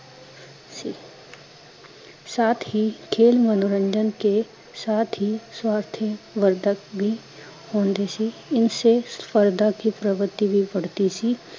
ਸਾਥ ਹੀਂ ਖੇਲ ਮਨੋਰੰਜਨ ਕੇ, ਸਾਥ ਹੀਂ ਸਵਾਰਥਿਯ ਵਰਧਕ ਹੁੰਦੀ ਸੀ, ਇਨਸੇ ਫ਼ਰਦਾਂ ਕੀ ਪਰਿਵਿਤਈ ਬੀ ਬੜਤੀ ਸੀ